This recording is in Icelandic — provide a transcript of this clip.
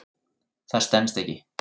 Það stenst ekki.